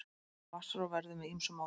Vatnsrof verður með ýmsu móti.